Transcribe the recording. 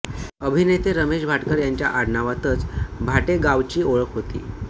अभिनेते रमेश भाटकर यांच्या आडनावातच भाट्ये गावची ओळख होती